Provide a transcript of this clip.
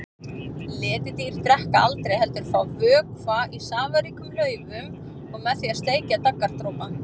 Letidýr drekka aldrei heldur fá vökva í safaríkum laufum og með því að sleikja daggardropa.